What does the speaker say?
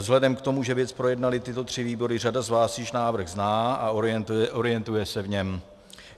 Vzhledem k tomu, že věc projednaly tyto tři výbory, řada z vás již návrh zná a orientuje se v něm.